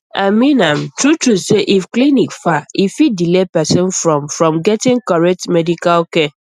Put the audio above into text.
i mean am truetrue say if clinic far e fit delay person from from getting correct medical care